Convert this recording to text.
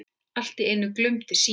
Allt í einu glumdi síminn.